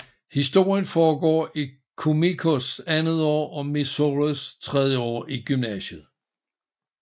Historien foregår i Kumikos andet år og Mizores tredje år i gymnasiet